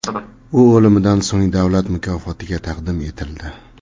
U o‘limidan so‘ng davlat mukofotiga taqdim etildi.